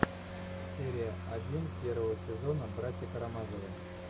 серия один первого сезона братья карамазовы